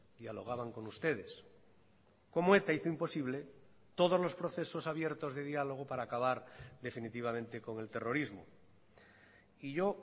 dialogaban con ustedes como eta hizo imposible todos los procesos abiertos de diálogo para acabar definitivamente con el terrorismo y yo